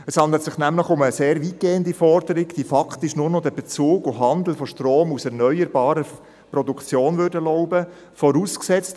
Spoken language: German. Es handelt sich nämlich um eine sehr weitgehende Forderung, welche faktisch nur noch den Bezug und Handel aus erneuerbaren Produktionen erlauben würden.